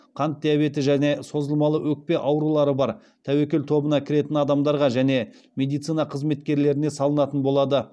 қант диабеті және созылмалы өкпе аурулары бар тәуекел тобына кіретін адамдарға және медицина қызметкерлеріне салынатын болады